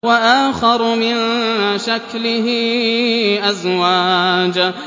وَآخَرُ مِن شَكْلِهِ أَزْوَاجٌ